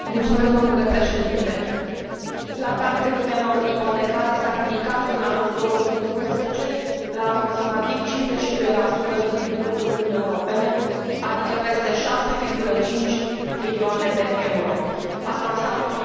Plata creditelor ipotecare s a ridicat în anul 2011 la aproximativ 52 din PIB ul Uniunii Europene, adică peste 6,5 trilioane de euro. Aceasta înseamnă o importanță economică deosebită.